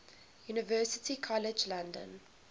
university college london